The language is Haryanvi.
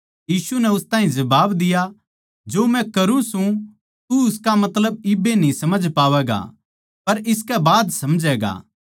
यीशु नै उस ताहीं जबाब दिया जो मै करूँ सूं तू उसका मतलब इब्बे न्ही समझ पावैगा पर इसकै बाद समझैगा